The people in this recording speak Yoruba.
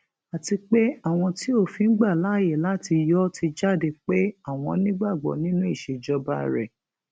àti pé àwọn tí òfin gbà láàyè láti yọ ọ ti jáde pé àwọn nígbàgbọ nínú ìṣèjọba rẹ